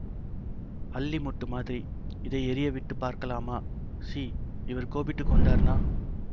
அல்லி மொட்டு மாதிரி இதை எரிய விட்டு பார்க்கலாமா சீ இவர் கோபித்து கொண்டார்னா